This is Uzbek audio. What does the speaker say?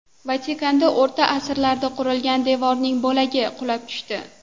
Vatikanda O‘rta asrlarda qurilgan devorning bo‘lagi qulab tushdi.